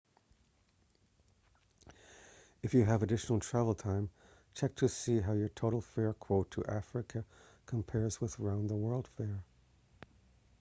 if you have additional travel time check to see how your total fare quote to africa compares with a round-the-world fare